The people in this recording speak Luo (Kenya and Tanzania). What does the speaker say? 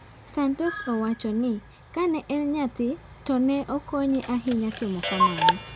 Santos owachoni kane en nyathi to ne okonye ahinya timo kamano.